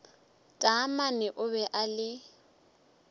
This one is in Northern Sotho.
taamane o be a le